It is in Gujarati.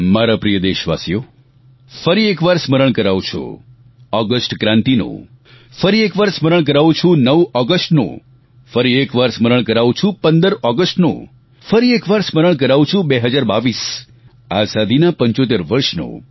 મારા પ્રિય દેશવાસીઓ ફરી એકવાર સ્મરણ કરાવું છું ઓગસ્ટ ક્રાંતિનું ફરી એકવાર સ્મરણ કરાવું છું 9 ઓગસ્ટનું ફરી એકવાર સ્મરણ કરાવું છું 15 ઓગસ્ટનું ફરી એકવાર સ્મરણ કરાવું છું 2022 આઝાદીના 75 વર્ષનું